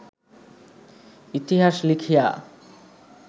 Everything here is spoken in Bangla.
ইতিহাস লিখিয়া